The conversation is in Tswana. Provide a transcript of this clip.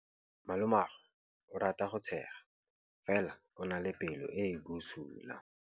Malomagwe o rata go tshega fela o na le pelo e e bosula.